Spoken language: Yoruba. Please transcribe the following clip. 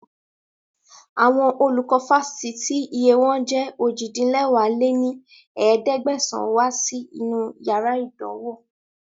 Àwọn olùkọ́ Fásitì tí iye wọn jẹ́ ojì-din-lẹwá lé ní ẹ̀ẹ́dẹ́gbẹ́sán wá sí inú yàrá ìdánwò